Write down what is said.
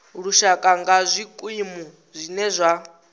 lushaka nga zwikimu zwine zwa